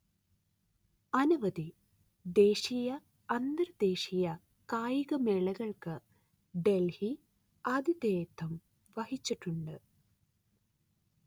അനവധി ദേശീയ അന്തർദേശീയ കായികമേളകൾക്ക് ഡെൽഹി ആതിഥേയത്വം വഹിച്ചിട്ടുണ്ട്